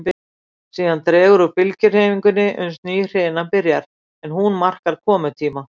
Síðan dregur úr bylgjuhreyfingunni uns ný hrina byrjar, en hún markar komutíma